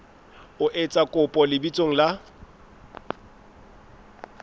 o etsa kopo lebitsong la